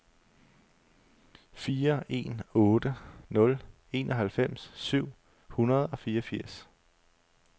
fire en otte nul enoghalvfems syv hundrede og fireogfirs